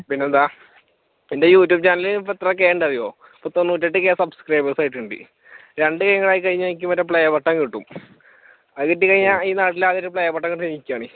പിന്നെന്താ എന്റെ യൂട്യൂബ് ചാനലിൽ ഇപ്പൊ എത്ര കെ ഉണ്ടെന്നറിയുവോ തൊണ്ണൂട്ടേട്ട് subscribers ആയിട്ടുണ്ട് രണ്ട് കെയും കൂടെ ആയിക്കഴിഞ്ഞാൽ എനിക്ക് മറ്റേ playbutton കിട്ടും അതുകിട്ടിക്കഴിഞ്ഞാൽ ഈ നാട്ടിൽ ആദ്യ playbutton കിട്ടുന്നത് എനിക്കാണ്